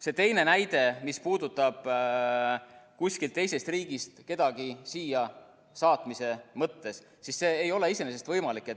See teine näide, mis puudutab kusagilt teisest riigist kedagi siia saatmise mõttes, siis see ei ole iseenesest võimalik.